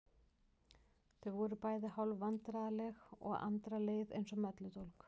Þau voru bæði hálf vandræðaleg og Andra leið eins og melludólg.